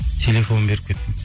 телефон беріп кеттім